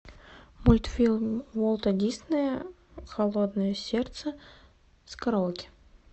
мультфильм уолта диснея холодное сердце с караоке